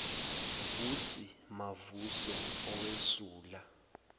vusi mavuso owesula